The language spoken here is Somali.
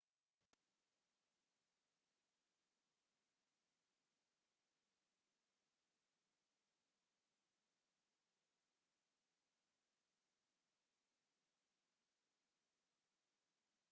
hadhaageeda ayaa keenay roob dul ka hoor ah oo ka da'ay inta badan ee jasiiradda in kastoo ilaa hadda aan wax dhaawacyo ama daadad ah aan la soo werin